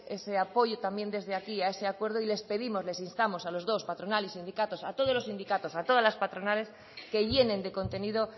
ese apoyo también desde aquí a ese acuerdo y les pedimos les instamos a los dos patronal y sindicatos a todos los sindicatos a todas las patronales que llenen de contenido